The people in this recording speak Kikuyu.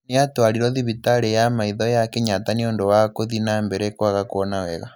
Nĩ aatwarirũo thivitarĩ ya maitho ya Kĩnyatta nĩ ũndũ wa kũthinambere kwaga kuona wega.